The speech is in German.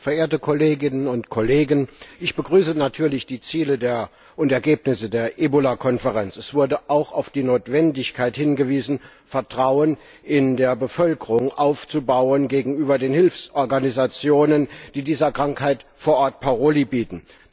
Herr Präsident, verehrte Kolleginnen und Kollegen! Ich begrüße natürlich die Ziele und Ergebnisse der Ebola Konferenz. Es wurde auch auf die Notwendigkeit hingewiesen, Vertrauen in der Bevölkerung gegenüber den Hilfsorganisationen aufzubauen, die dieser Krankheit vor Ort Paroli bieten.